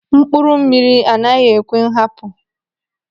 Mkpụrụ mmiri anaghị ekwe nhapu.